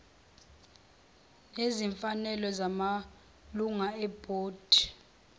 nezimfanelo zamalunga ebhodi